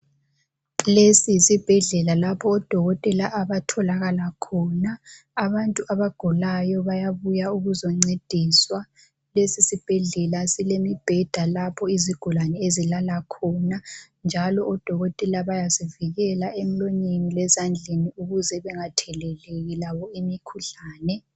Lesi yisibhedlela odokotela abatholakala khona. Abantu abagulayo bayabuya ukuzoncediswa. Lesi sibhedlela silemibheda lapho izigulane ezilala khona njalo odokotela bayazivikela emlonyeni lezandleni ukuze bengatheleleki labo imikhuhlane.